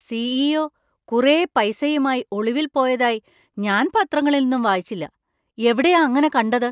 CEO. കുറെ പൈസയുമായി ഒളിവിൽ പോയതായി ഞാൻ പത്രങ്ങളിലൊന്നും വായിച്ചില്ല. എവിടെയാ അങനെ കണ്ടത് ?